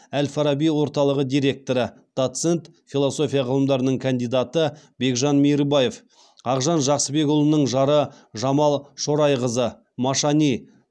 әл фараби орталығы директоры доцент философия ғылымдарының кандидаты бекжан мейірбаев ақжан жақсыбекұлының жары жамал шорайқызы машани